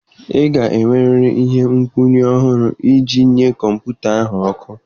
Ị ga-enwerịrị ihe nkwụnye ọhụrụ iji nye kọmputa ahụ ọkụ.